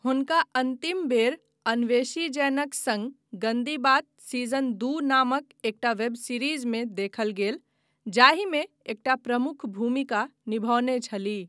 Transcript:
हुनका अन्तिम बेर अन्वेशी जैनक सङ्ग गंदी बात सीजन दू नामक एकटा वेब सीरीजमे देखल गेल जाहिमे एकटा प्रमुख भूमिका निभौने छलीह।